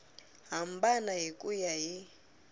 hambana hi ku ya hi